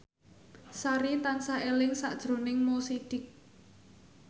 Sari tansah eling sakjroning Mo Sidik